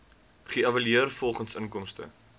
geëvalueer volgens inkomste